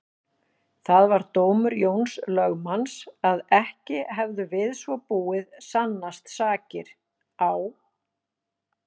Það var dómur Jóns lögmanns að ekki hefðu við svo búið sannast sakir á